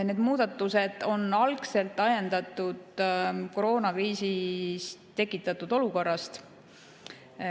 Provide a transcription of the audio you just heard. Need muudatused on ajendatud koroonakriisi tekitatud olukorrast.